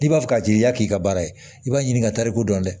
N'i b'a fɛ k'a jaa i y'i k'i ka baara ye i b'a ɲini ka tariku dɔn dɛ